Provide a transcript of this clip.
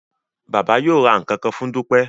Baba yóò rà nkankan fún Dupe